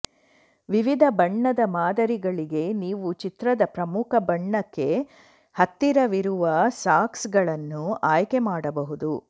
ವಿವಿಧ ಬಣ್ಣದ ಮಾದರಿಗಳಿಗೆ ನೀವು ಚಿತ್ರದ ಪ್ರಮುಖ ಬಣ್ಣಕ್ಕೆ ಹತ್ತಿರವಿರುವ ಸಾಕ್ಸ್ಗಳನ್ನು ಆಯ್ಕೆ ಮಾಡಬಹುದು